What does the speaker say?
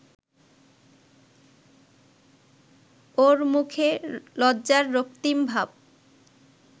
ওর মুখে লজ্জার রক্তিম ভাব